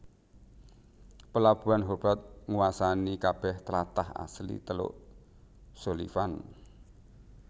Pelabuhan Hobart nguwasani kabeh tlatah asli teluk Sullivan